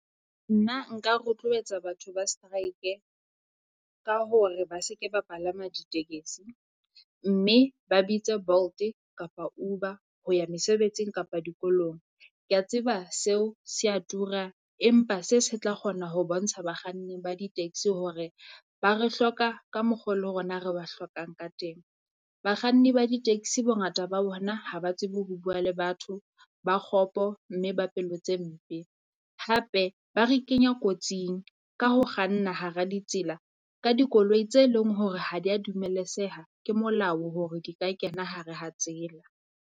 Nna nka rotloetsa batho ba strike-e ka hore ba se ke ba palama ditekesi. Mme ba bitse Bolt-e kapa Uber ho ya mesebetsing kapa dikolong. Kea tseba seo se a tura, empa se se tla kgona ho bontsha bakganni ba di-taxi hore ba re hloka ka mokgo le rona re ba hlokang ka teng. Bakganni ba di-taxi bongata ba bona ha ba tsebe ho bua le batho, ba kgopo mme ba pelo tse mpe. Hape ba re kenya kotsing ka ho kganna hara ditsela ka dikoloi tse leng hore ha dia dumeletseha ke molao hore ke ka kena hare ha tsela.